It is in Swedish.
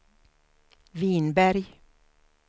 Vinberg